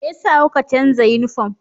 Me yasa kuka canza yunifom?